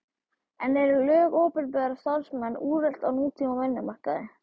En eru lög um opinbera starfsmenn úrelt á nútíma vinnumarkaði?